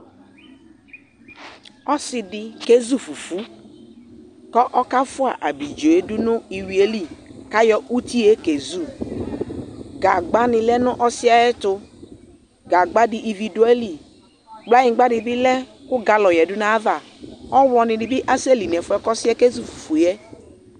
Ɔsɩ dɩ kezu fufu, kʋ ɔkafʋa abidzo yɛ dʋ nʋ iyui yɛ li, kʋ ayɔ uti yɛ kezu Gagbanɩ lɛ nʋ ɔsɩ yɛ ɛtʋ, gagba dɩ ivi dʋ ayili, kplanyigba dɩ bɩ lɛ kʋ galɔ yǝdu nʋ ayava, ɔɣlɔnɩ bɩ asɛli nʋ ɛfʋ yɛ kʋ ɔsɩ yɛ kezu fufu yɛ